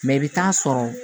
Mɛ i bɛ taa sɔrɔ